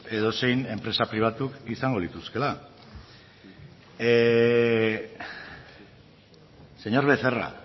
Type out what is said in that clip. edozein enpresa pribatuk izango lituzkeela señor becerra